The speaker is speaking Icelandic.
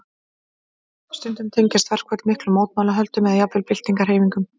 Stundum tengjast verkföll miklum mótmælaöldum eða jafnvel byltingarhreyfingum.